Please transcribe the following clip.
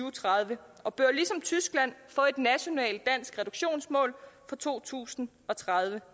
og tredive og bør ligesom tyskland få et nationalt dansk reduktionsmål for to tusind og tredive